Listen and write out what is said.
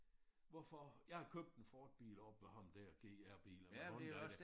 Hvorfor jeg har købt en Ford bil oppe ved ham der GR Biler men Hyundai det